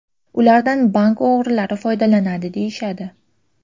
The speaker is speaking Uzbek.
Ulardan bank o‘g‘rilari foydalanadi deyishadi.